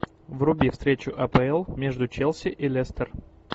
вруби встречу апл между челси и лестер